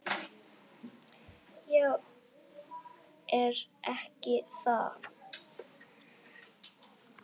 """Já, er ekki það?"""